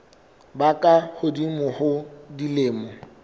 ba ka hodimo ho dilemo